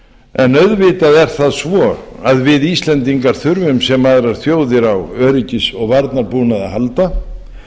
en auðvitað er það svo að við íslendingar þurfum sem aðrar þjóðir á öryggis og varnarbúnaði að halda